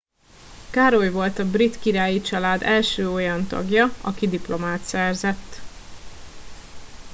károly volt a brit királyi család első olyan tagja aki diplomát szerzett